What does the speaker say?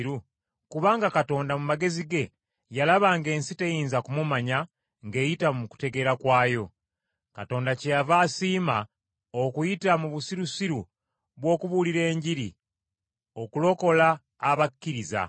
Kubanga Katonda, mu magezi ge, yalaba ng’ensi teyinza kumumanya ng’eyita mu kutegeera kwayo. Katonda kyeyava asiima okuyita mu busirusiru bw’okubuulira Enjiri okulokola abakkiriza.